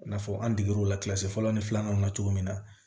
I n'a fɔ an degero kilasi fɔlɔ ni filanan na cogo min na